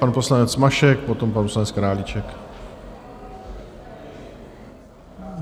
Pan poslanec Mašek, potom pan poslanec Králíček.